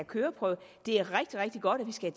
køreprøve det er rigtig rigtig godt at vi skal